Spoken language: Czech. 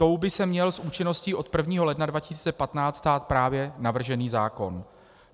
Tou by se měl s účinností od 1. ledna 2015 stát právě navržený zákon.